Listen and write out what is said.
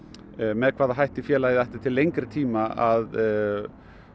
með hvaða hætti félagið ætli til lengri tíma að